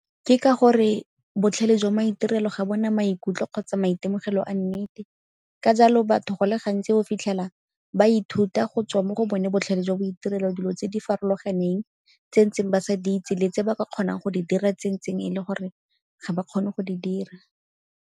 Ke ka gore botlhale jwa maitirelo ga bo na maikutlo kgotsa maitemogelo a nnete, ka jalo batho go le gantsi o fitlhela ba ithuta go tswa mo go bone botlhale jwa maitirelo dilo tse di farologaneng, tse ntseng ba sa di itse le tse ba ka kgonang go di dira tse ntseng e le gore ga ba kgone go di dira.